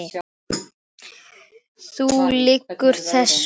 Þú lýgur þessu!